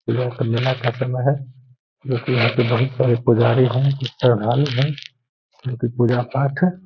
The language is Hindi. जोकि मेला खत्म है जो कि यहाँ पे बहुत सारे पुजारी है जो कि श्रद्धालु है जो कि पूजा पाठ है।